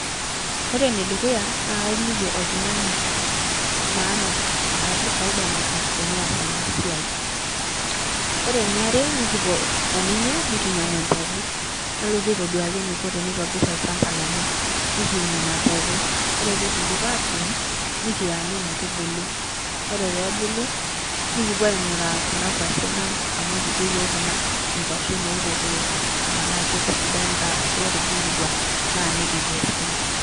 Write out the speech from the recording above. Ore ene dukuya naake aliki oltung'ani maana arashu faida natum teneas ena siai. Ore eniare nekipuo o ninye nekinyang'u empeku nalotu aitoduaki eniko tenitobir olchamba lenye, nekiun ina peku, ore peekindip atuun nekianyu metubulu. Ore peebulu nekipuo aing'uraa kuna kwashen ang' amu kijo yiok kuna nkwashen orkokoyo tenaa ketisidanita arashu ketubulutua naa nikikesu.